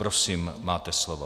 Prosím, máte slovo.